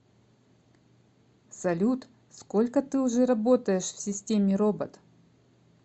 салют сколько ты уже работаешь в системе робот